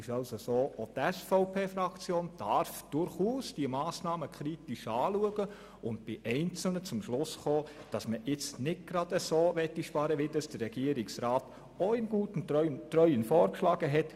Auch die SVP-Fraktion darf durchaus die Massnahmen kritisch betrachten und bei einzelnen zum Schluss kommen, dass man nicht so sparen möchte, wie es der Regierungsrat in guten Treuen vorgeschlagen hat.